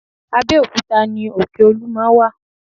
Abẹ́òkúta ni òkè olúmọ wà